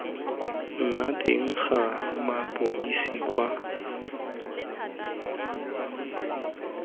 nna teng ga mapodisi kwa